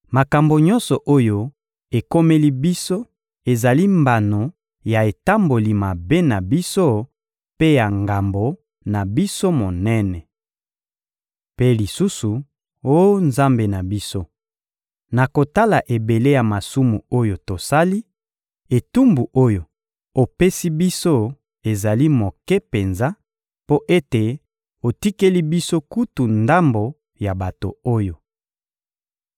Makambo nyonso oyo ekomeli biso ezali mbano ya etamboli mabe na biso mpe ya ngambo na biso monene. Mpe lisusu, oh Nzambe na biso, na kotala ebele ya masumu oyo tosali, etumbu oyo opesi biso ezali moke penza, mpo ete otikeli biso kutu ndambo ya bato oyo!